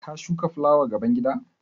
Ka shuka fulawa gaban gida?